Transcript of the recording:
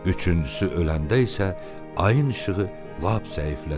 Üçüncüsü öləndə isə ayın işığı lap zəiflədi.